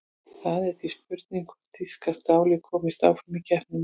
Það er því spurning hvort þýska stálið komist áfram í keppninni?